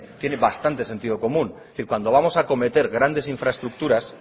tiene bastante sentido común es decir cuando vamos acometer grandes infraestructuras